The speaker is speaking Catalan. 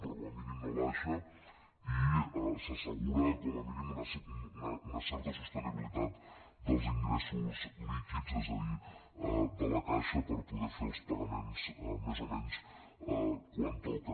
però com a mínim no baixa i s’assegura com a mínim una certa sostenibilitat dels ingressos líquids és a dir de la caixa per poder fer els pagaments més o menys quan toca